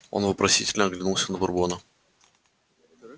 он вопросительно оглянулся на бурбона